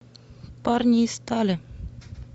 парни из стали